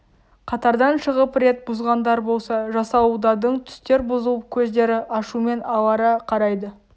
қатардан шығып рет бұзғандар болса жасауылдардың түстер бұзылып көздері ашумен алара қарайды